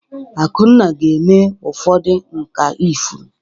Akunna ga-eme ụfọdụ nkà ifuru.